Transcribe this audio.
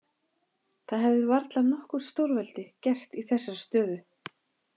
Það hefði varla nokkurt stórveldi gert í þessari stöðu.